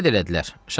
Belə də elədilər.